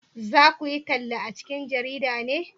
za ku yi talla a cikin jarida ne?